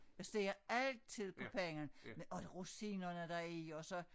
Jeg steger altid på panden med og rosinerne der er i og så